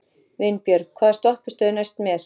Vinbjörg, hvaða stoppistöð er næst mér?